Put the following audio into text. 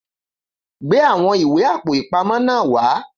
Gbé àwọn ìwé Àpò-ìpamọ́ náà wá